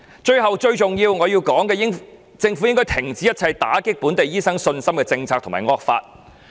最後，最重要的是，政府應該停止一切打擊本地醫生信心的政策及惡法。